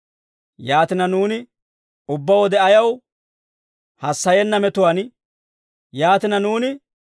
Yaatina, nuuni ubbaa wode ayaw hassayenna metuwaan geleettoo?